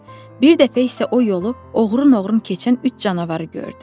Bir dəfə isə o yolu oğrun-oğrun keçən üç canavarı gördü.